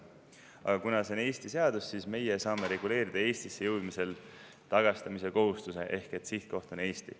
Aga kuna see on Eesti seadus, siis meie saame reguleerida Eestisse jõudmisel tagastamise kohustuse, ehk et sihtkoht on Eesti.